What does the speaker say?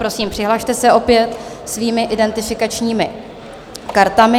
Prosím, přihlaste se opět svými identifikačními kartami.